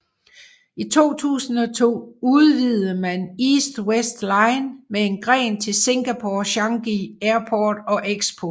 I 2002 udvidede man East West Line med en gren til Singapore Changi Airport og Expo